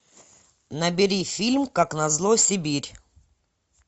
набери фильм как назло сибирь